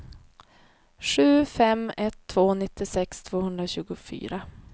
sju fem ett två nittiosex tvåhundratjugofyra